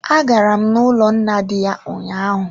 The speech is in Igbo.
A garam n'ụlọ nna di ya ụnyaahụ.